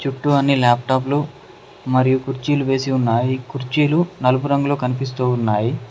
చుట్టూ అన్ని లాప్టాప్ లు మరియు కుర్చీలు వేసి ఉన్నాయి కుర్చీలు నలుపు రంగులో కనిపిస్తూ ఉన్నాయి.